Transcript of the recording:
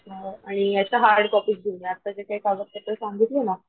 आणि याच्या hard copies घेऊन ये आत्ता जे कागतपत्र सांगितली ना,